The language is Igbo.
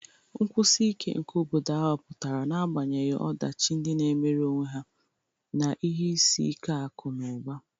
Nkwụsi ike nke obodo ahụ pụtara n'agbanyeghị ọdachi ndị na-emere onwe ha na ihe isi ike akụ̀ na ụba.